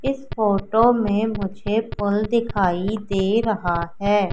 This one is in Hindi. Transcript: इस फोटो में मुझे पुल दिखाई दे रहा हैं।